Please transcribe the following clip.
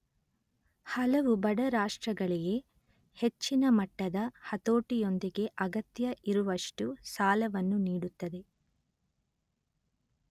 ಹಲವು ಬಡ ರಾಷ್ಟಗಳಿಗೆ ಹೆಚ್ಚಿನ ಮಟ್ಟದ ಹತೋಟಿಯೊಂದಿಗೆ ಅಗತ್ಯ ಇರುವಷ್ಟು ಸಾಲವನ್ನು ನೀಡುತ್ತಿದೆ